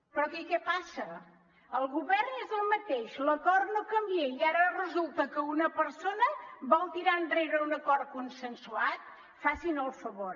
però aquí què passa el govern és el mateix l’acord no canvia i ara resulta que una persona vol tirar enrere un acord consensuat facin el favor